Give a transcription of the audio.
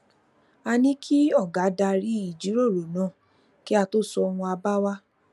a ní kí ọga darí ìjíròrò náà kí a tó sọ àwọn àbá wa